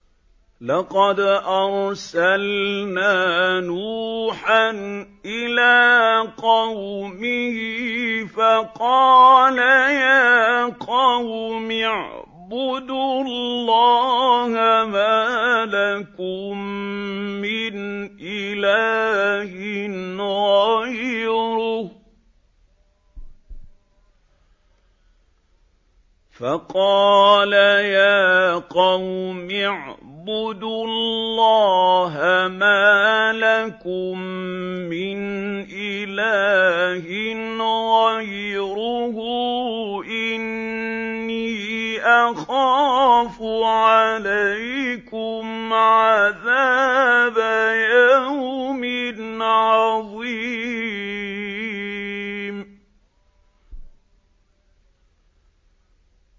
لَقَدْ أَرْسَلْنَا نُوحًا إِلَىٰ قَوْمِهِ فَقَالَ يَا قَوْمِ اعْبُدُوا اللَّهَ مَا لَكُم مِّنْ إِلَٰهٍ غَيْرُهُ إِنِّي أَخَافُ عَلَيْكُمْ عَذَابَ يَوْمٍ عَظِيمٍ